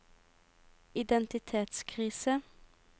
identitetskrise